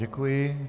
Děkuji.